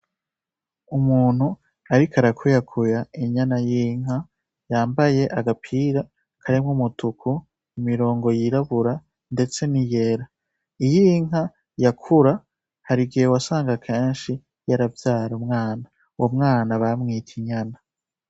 Umuntu ariko arakuyakuya inyana y' inka yambaye agapira karimwo umutuku, imirongo yirabura ndetse niyera iy'inka yakura harigihe wasanga kenshi yaravyara umwana uyo mwana bamwita inyana.